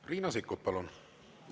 Riina Sikkut, palun!